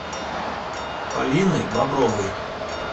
полиной бобровой